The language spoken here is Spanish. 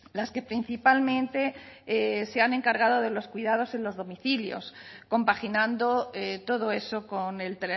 las que principalmente se han encargado de los cuidados en los domicilios compaginando todo eso con el